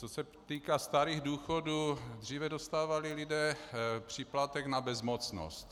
Co se týká starých důchodů, dříve dostávali lidé příplatek na bezmocnost.